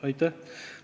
Aitäh!